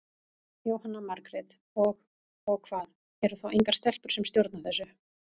Jóhanna Margrét: Og, og hvað, eru þá engar stelpur sem stjórna þessu?